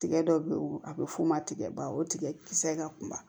Tigɛ dɔ bɛ ye o a bɛ f'o ma tigɛba o tigɛ kisɛ in ka kuma